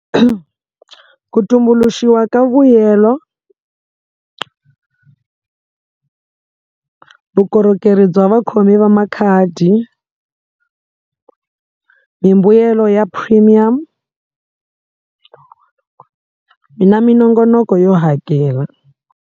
Ku tumbuluxiwa ka vuyelo vukorhokeri bya vakhomi va makhadi mimbuyelo ya premium mina minongonoko yo hakela.